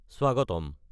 স্বাগতম!